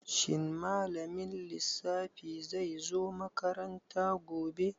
Shin malamin lissafi zai zo makaranta gobe?